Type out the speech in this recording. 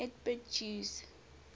lgbt jews